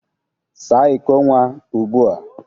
Saa iko nwa ugbua.